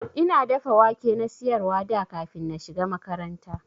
Ina dafa wake na siyarwa da kafin na shiga makaranta.